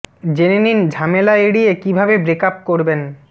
জেনে নিন ঝামেলা এড়িয়ে কী ভাবে ব্রেক আপ করবেন